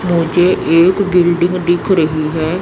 मुझे एक बिल्डिंग दिख रही है।